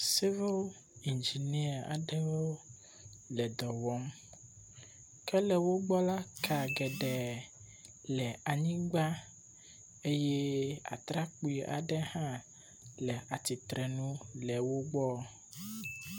civil engineer aɖewo le dɔwɔm ke le wógbɔ la ka geɖe le wógbɔ eye. atrakpi aɖe hã le atsitre le wógbɔ